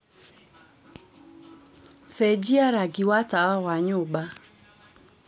cenjĩa rangĩ wa tawa wa nyũmba